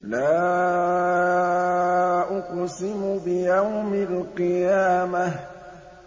لَا أُقْسِمُ بِيَوْمِ الْقِيَامَةِ